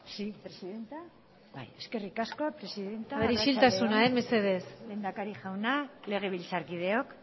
eskerrik asko presidentea arratsalde on lehendakari jauna legebiltzarkideok